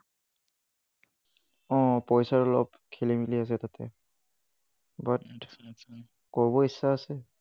অহ পইছাৰ খেলি মেলি আছে তাতে, but কৰিবলৈ ইচ্ছা আছে।